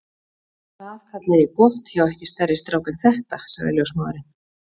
Það kalla ég gott hjá ekki stærri strák en þetta sagði ljósmóðirin.